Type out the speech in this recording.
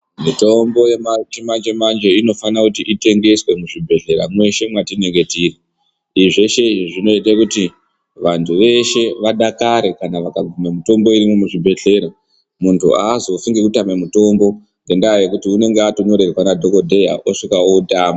Mitombo yechimanje-manje inofana kuti itengese muzvibhedhlera mweshe mwatinenge tiri. Izvi zveshe izvi zvinoita kuti vantu veshe vadakare kana vakaguma mitombo irimwo muzvibhedhlera. Muntu azofi nekutama mutombo ngendaa yekuti unenge atonyorerwa nadhogodheya osvika otama.